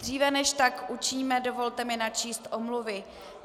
Dříve než tak učiníme, dovolte mi načíst omluvy.